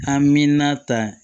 A mi na ta